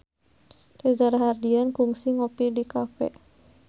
Reza Rahardian kungsi ngopi di cafe